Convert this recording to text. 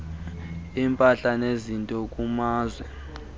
impahla nezinto kumazwe